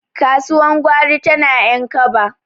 kasuwa gwari tana yan kaba